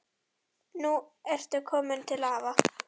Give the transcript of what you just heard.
Nú ertu komin til afa.